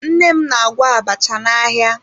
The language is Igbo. Nne m n'agwọ abacha n'ahịa